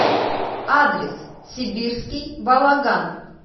адрес сибирский балаган